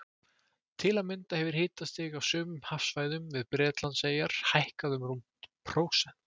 Til að mynda hefur hitastig á sumum hafsvæðum við Bretlandseyjar hækkað um rúmt prósent.